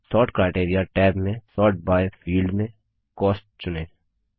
sort criteria tab में sort by field में cost चुनें